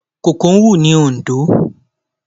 Kòkó ń hù ní Oǹdó.